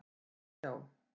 hægt að sjá.